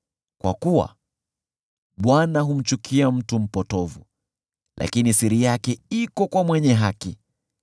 kwa kuwa Bwana humchukia mtu mpotovu, lakini siri yake iko kwa mwenye haki.